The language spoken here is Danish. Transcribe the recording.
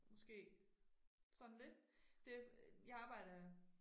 Måske sådan lidt det jeg arbejder